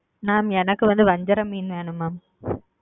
mam எனக்கு வந்து வஞ்சர மீன் வேணும் mam.